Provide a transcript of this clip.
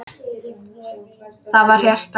Það var hjarta!